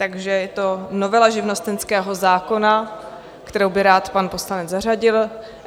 Takže je to novela živnostenského zákona, kterou by rád pan poslanec zařadil.